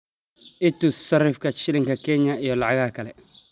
i tus sarifka shilinka kenya iyo lacagaha kale